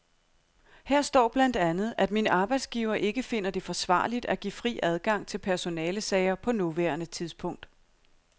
Her står blandt andet, at min arbejdsgiver ikke finder det forsvarligt at give fri adgang til personalesager på nuværende tidspunkt.